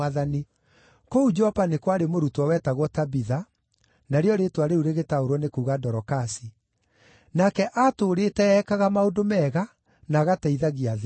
Kũu Jopa nĩ kwarĩ mũrutwo wetagwo Tabitha (narĩo rĩĩtwa rĩu rĩgĩtaũrwo nĩ kuuga Dorokasi), nake aatũũrĩte ekaga maũndũ mega, na agateithagia athĩĩni.